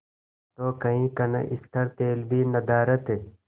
तो कई कनस्तर तेल भी नदारत